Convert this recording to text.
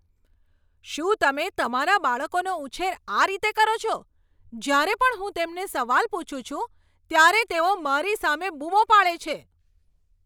શું તમે તમારા બાળકોનો ઉછેર આ રીતે કરો છો? જ્યારે પણ હું તેમને સવાલ પૂછું છું ત્યારે તેઓ મારી સામે બૂમો પાડે છે.